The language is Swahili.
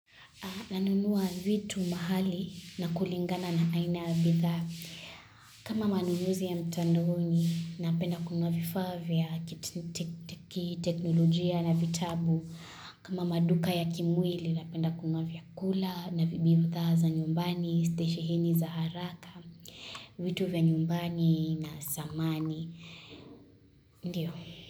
Nanunua vitu mahali na kulingana na aina yabithaa. Kama manunuzi ya mtandoni napenda kununua vifaa vya, kiteknolojia na vitabu. Kama maduka ya kimwili na penda kununua vyakula na bithaa za nyumbani, stesheheni za haraka, vitu vya nyumbani na samani. Ndiyo.